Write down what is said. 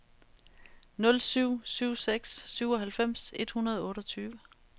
nul syv syv seks syvoghalvfems et hundrede og otteogtyve